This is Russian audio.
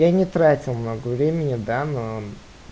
я не тратил много времени да но